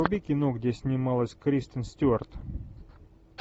вруби кино где снималась кристен стюарт